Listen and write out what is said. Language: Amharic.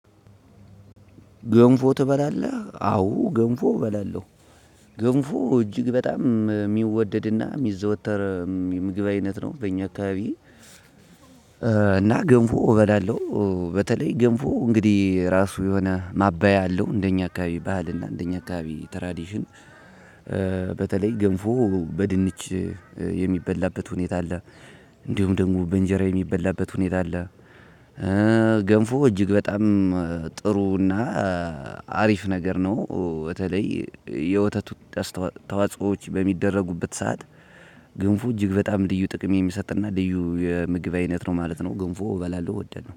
ገንፎ ትበላለህ አዎ ገንፎ እበላለው ገንፎ እጅግ በጣም የሚወደድና የሚዘወተር ምግብ አይነት ነው በእኛ አካባቢ እና ገምፎ እበላለው በተለይ ገንፎ እንግዲህ ራሱ የሆነ ማባያ አለው እንደኛ አካባቢ ባህል እና እንደኛ አካባቢ ትራዲሽን በተለይ ገንፎ በድንች የሚበላበት ሁኔታ አለ እንዲሁም ደግሞ በእንጀራ የሚበላበት ሁኔታ አለ ገንፎ እጅግ በጣም ጥሩ እና አሪፍ ነገር ነው በተለይ የወተት ተዋጽኦዎች በሚደረጉበት ሰዓት ገንፎ እጅግ በጣም ልዩ ጥቅም የሚሰጥ እና ልዩ የምግብ አይነት ነው ማለት ነው። እንፎ እበላለው እወዳለው።